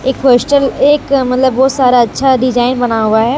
एक मतलब बहुत सारा अच्छा डिजाइन बना हुआ है।